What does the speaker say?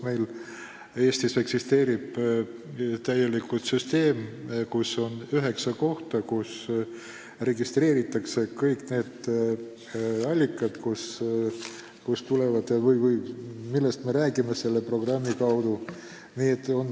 Eestis eksisteerib väga hea süsteem, on üheksa kohta, kus registreeritakse kõik need allikad, millest me räägime selle programmi puhul.